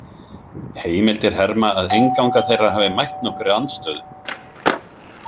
Heimildir herma að innganga þeirra hafi mætt nokkurri andstöðu.